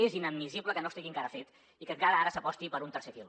és inadmissible que no estigui encara fet i que encara ara s’aposti per un tercer fil